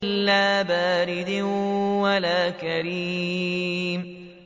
لَّا بَارِدٍ وَلَا كَرِيمٍ